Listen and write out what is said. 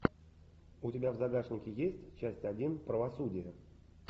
у тебя в загашнике есть часть один правосудие